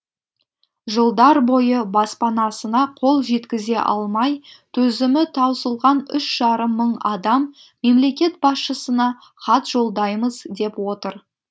жылдар бойы баспанасына қол жеткізе алмай төзімі таусылған үш жарым мың адам мемлекет басшысына хат жолдаймыз деп отыр